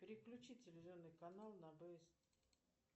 переключи телевизионный канал на бст